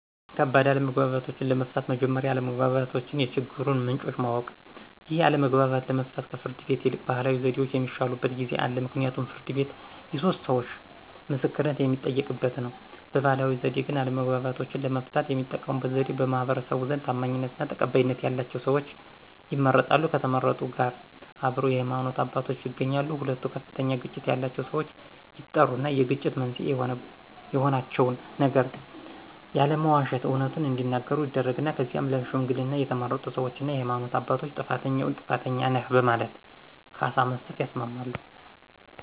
ከባድ አለመግባባቶችን ለመፍታት መጀመሪያ የአለመግባባት የችግሩን ምንጮችን ማወቅ። ይህን አለመግባባት ለመፍታት ከፍርድ ቤት ይልቅ ባህላዊ ዘዴዎች የሚሻሉበት ጊዜ አለ ምክንያቱም ፍርድ ቤት የሶስት ሰዎቾ ምስክርነት የሚጠየቅበት ነው። በባህላዊ ዘዴ ግን አለመግባባቶችን ለመፍታት የሚጠቀሙበት ዘዴዎች በማህበረሰቡ ዘንድ ታማኝነትና ተቀባይነት ያላቸው ሰዎች ይመረጣሉ ከተመረጡት ጋር አብረው የሃይማኖት አባቶች ይገኛሉ ሁለቱ ከፍተኛ ግጭት ያላቸው ሰዎች ይጠሩና የግጭት መንስኤ የሆናቸውን ነገር ያለመዋሸት አውነቱን እዲናገሩ ይደረግና ከዚያም ለሽምግልና የተመረጡ ሰዎችና የሃይማኖት አባቶች ጥፋተኛውን ጥፋተኛ ነህ በማለት ካሳ መስጠት ያስማማሉ።